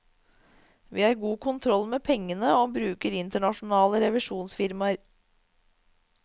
Vi har god kontroll med pengene og bruker internasjonale revisjonsfirmaer.